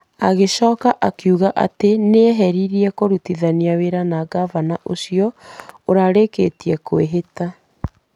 Agĩcoka akiuga atĩ nĩ eharĩirie kũrutithania wĩra na ngavana ũcio ũrarĩkĩtie kwĩhĩta.